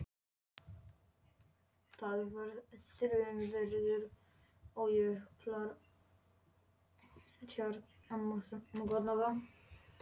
Það var þrumuveður og jöklar og tjarnir loguðu.